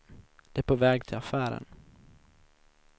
De är på väg till affären.